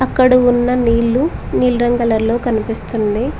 ఇక్కడ ఉన్న నీళ్లు నీలి రంగ్ కలర్లో కనిపిస్తుంది.